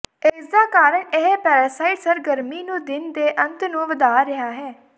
ਇਸ ਦਾ ਕਾਰਨ ਇਹ ਪੈਰਾਸਾਈਟ ਸਰਗਰਮੀ ਨੂੰ ਦਿਨ ਦੇ ਅੰਤ ਨੂੰ ਵਧਾ ਰਿਹਾ ਹੈ